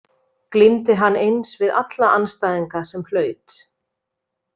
Glímdi hann eins við alla andstæðinga sem hlaut.